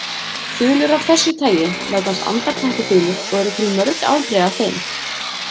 Þulur af þessu tagi nefnast andarteppuþulur og eru til mörg afbrigði af þeim.